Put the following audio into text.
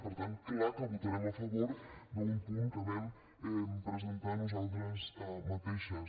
per tant clar que votarem a favor d’un punt que vam presentar nosaltres mateixes